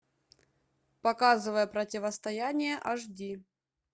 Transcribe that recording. показывай противостояние аш ди